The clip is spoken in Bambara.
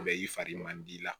Mɛ i fari man di i la